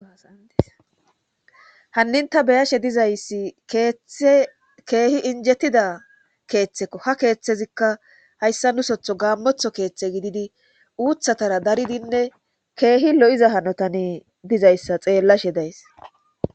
hanninta beyashe dizayssi ttkeehi injettida keeththekko ha keeththezikka hayssa nusotho gaammotho keeththe gididi uuthatara daridinne keehi lo7iza hanotane dizayssa xeellashe days